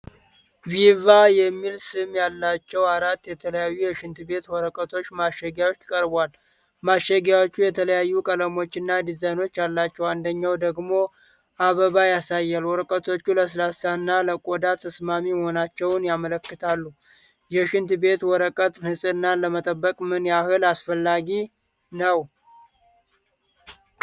'ቪቫ' የሚል ስም ያላቸው አራት የተለያዩ የሽንት ቤት ወረቀቶች ማሸጊያዎች ቀርበዋል። ማሸጊያዎቹ የተለያዩ ቀለሞች እና ዲዛይኖች አሏቸው፣ አንደኛው ደግሞ አበባ ያሳያል። ወረቀቶቹ ለስላሳ እና ለቆዳ ተስማሚ መሆናቸውን ያመለክታሉ። የሽንት ቤት ወረቀት ንጽህናን ለመጠበቅ ምን ያህል አስፈላጊ ነው?